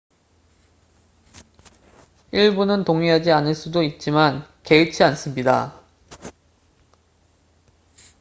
"""일부는 동의하지 않을 수도 있지만 개의치 않습니다.